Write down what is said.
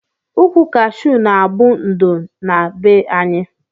Ukwu kashu na abu ndo na be anyi.